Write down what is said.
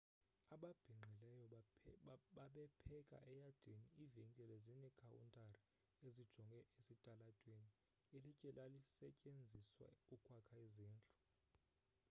ababhinqileyo babepheka eyadini ivenkile zinekhawuntari ezijonge esitalatweni ilitye lalisetyenziswa ukwakha izindlu